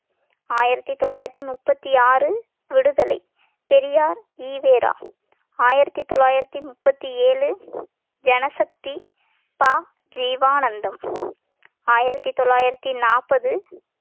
ஆயிரத்தி தொள்ளாயிரத்தி முப்பத்தி ஆறு விடுதலை பெரியார் ஈ வே ரா ஆயிரத்தி தொள்ளாயிரத்தி முப்பத்தி ஏழு ஜனசக்தி ப ஜீவானந்தம் ஆயிரத்தி தொள்ளாயிரத்தி நாப்பது